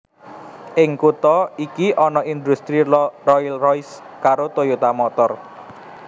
Ing kutha iki ana indhustri Rolls Royce karo Toyota Motor